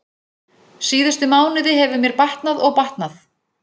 Síðustu mánuði hefur mér batnað og batnað.